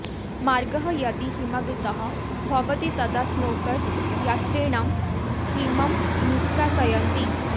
मार्गः यदि हिमावृतः भवति तदा स्नोकर् यन्त्रेण हिमम् निष्कासयन्ति